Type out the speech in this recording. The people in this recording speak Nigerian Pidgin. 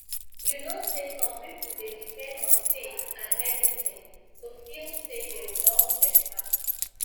you know say some people dey depend on faith and medicine to feel say dem don better